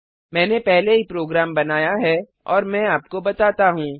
मैंने पहले ही प्रोग्राम बनाया है और मैं आपको बताता हूँ